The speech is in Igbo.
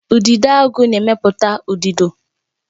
Udidoagu na-emepụta udido